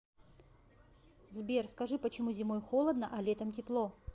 сбер скажи почему зимой холодно а летом тепло